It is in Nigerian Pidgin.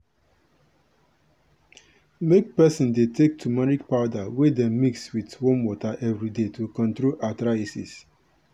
make peson dey take tumeric powder wey dem mix with warm water everyday to control arthritis.